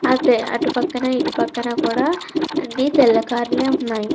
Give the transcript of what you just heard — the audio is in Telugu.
అటే అటు పక్కన ఇటు పక్కన అన్ని తెల్ల కార్లే ఉన్నాయి.